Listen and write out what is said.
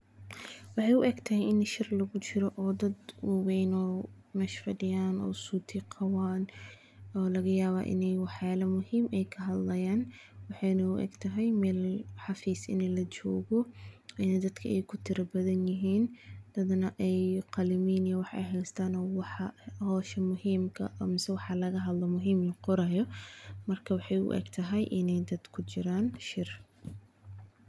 Waxeey u egtahay in shir lagu jiro oo laga yaabo in wax muhiim ah laga hadlaayo, dadka wax laqoraayo, waxeey u Egtahay in wax la qoraayo oo shir lagu jiro.